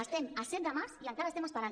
estem a set de març i encara estem esperant